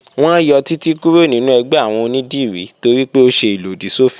Wọ́n yọ Títí kúrò nínú ẹgbẹ́ àwọn onídìrí toripé ó ṣe ìlòdì sọ́fin